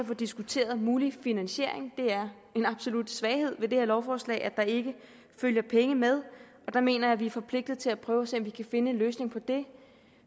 få diskuteret en mulig finansiering det er en absolut svaghed ved det her lovforslag at der ikke følger penge med og der mener jeg at vi er forpligtet til at prøve at se om vi kan finde en løsning på det